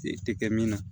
E tɛ kɛ min na